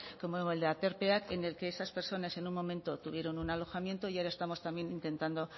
como el de aterpeak en el que esas personas en un momento tuvieron un alojamiento y ahora estamos también intentando